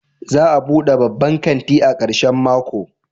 Za a bude babban kanti a karshen mako?